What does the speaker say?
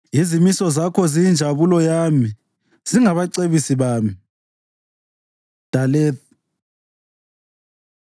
Izimiso zakho ziyinjabulo yami; zingabacebisi bami. ד Daleth